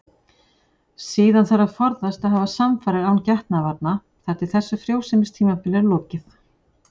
Síðan þarf að forðast að hafa samfarir án getnaðarvarna þar til þessu frjósemistímabili er lokið.